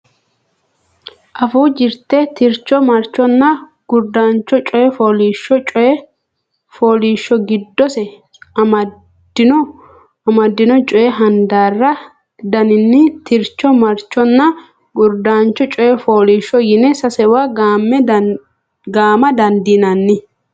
Afuu Jirte Tircho Marchonna Gurdancho Coy Fooliishsho Coy fooliishsho giddose amaddino coy handaari daninni tircho marchonna gurdancho coy fooliishsho yine sasewa gaama dandiinanni.